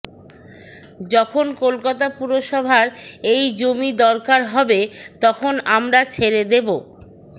যখন কলকাতা পুরসভার এই জমি দরকার হবে তখন আমরা ছেড়ে দেব